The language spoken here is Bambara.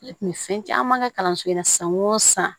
Ne kun bɛ fɛn caman kɛ kalanso in na san o san